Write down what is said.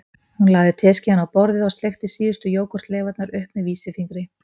Hún lagði teskeiðina á borðið og sleikti síðustu jógúrtleifarnar upp með vísifingri